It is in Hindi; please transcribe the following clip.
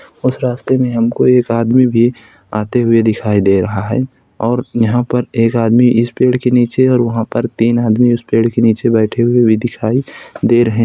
उस रास्ते में हमको एक आदमी भी आते हुए दिखाई दे रहा है और यहाँ पर एक आदमी इस पेड़ के नीचे और वहाँ पर तीन आदमी उस पेड़ के नीचे बैठे हुए भी दिखाई दे रहें --